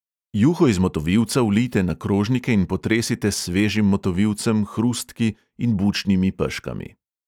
Juho iz motovilca vlijte na krožnike in potresite s svežim motovilcem, hrustki in z bučnimi peškami.